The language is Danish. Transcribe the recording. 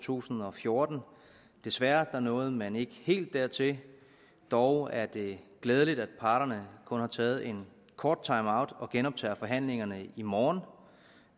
tusind og fjorten desværre nåede man ikke helt dertil dog er det glædeligt at parterne kun har taget en kort timeout og genoptager forhandlingerne i morgen og